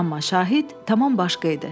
Amma Şahid tamam başqa idi.